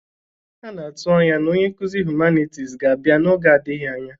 A na-atụ anya na onye nkuzi hụmanịtis ga-abịa n'oge adịghị anya.